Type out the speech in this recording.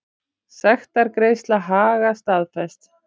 Sektargreiðsla Haga staðfest